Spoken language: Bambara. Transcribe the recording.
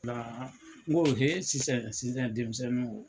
nko sisan sisan denmisɛnninw!